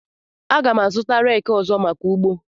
Aga m azụta reki ọzọ maka ugbo.